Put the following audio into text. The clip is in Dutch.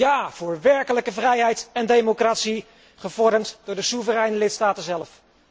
Ja voor werkelijke vrijheid en democratie, gevormd door de soevereine lidstaten zelf.